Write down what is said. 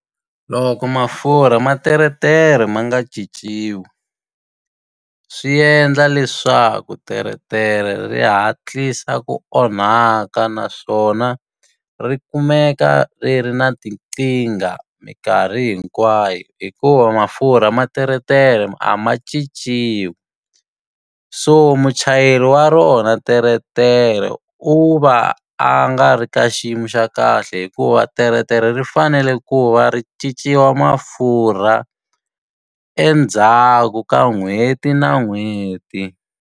Loko mafurha ma teretere ma nga cinciwi, swi endla leswaku teretere ri hatlisa ku onhaka. Naswona ri kumeka ri ri na tinkingha minkarhi hinkwayo, hikuva mafurha ma teretere a ma cinciwi. So muchayeri wa rona teretere u va a a nga ri ka xiyimo xa kahle hikuva teretere ri fanele ku va ri cinciwa mafurha, endzhaku ka n'hweti na n'hweti.